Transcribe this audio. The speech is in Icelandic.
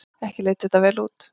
Ekki leit þetta vel út.